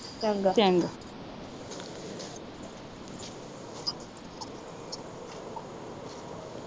ਚੰਗਾ